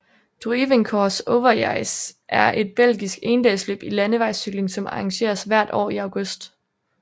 Druivenkoers Overijse er et belgisk endagsløb i landevejscykling som arrangeres hvert år i august